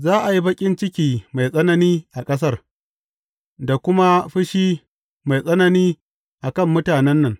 Za a yi baƙin ciki mai tsanani a ƙasar, da kuma fushi mai tsanani a kan mutanen nan.